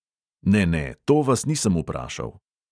Ne, ne, to vas nisem vprašal.